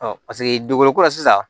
paseke dugukolo ko la sisan